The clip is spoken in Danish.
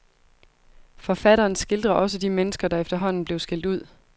Forfatteren skildrer også de mennesker, der efterhånden blev skilt ud.